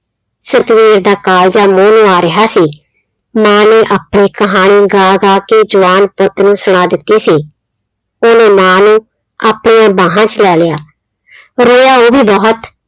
ਸਤਵੀਰ ਦਾ ਕਾਲਜਾ ਮੂੰਹ ਨੂੰ ਆ ਰਿਹਾ ਸੀ, ਮਾਂ ਨੇ ਆਪਣੀ ਕਹਾਣੀ ਗਾ ਗਾ ਕੇ ਜਵਾਨ ਪੁੱਤ ਨੂੰ ਸੁਣਾ ਦਿੱਤੀ ਸੀ, ਉਹਨੇ ਮਾਂ ਨੂੰ ਆਪਣੀਆਂ ਬਾਹਾਂ 'ਚ ਲੈ ਲਿਆ ਰੋਇਆ ਉਹ ਵੀ ਬਹੁਤ।